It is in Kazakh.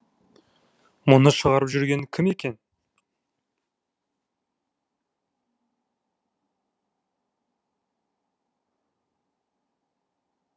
мұны шығарып жүрген кім екен